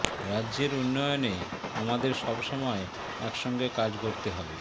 রাজ্যের উন্নয়নে আমাদের সব সময় একসঙ্গে কাজ করতে হবে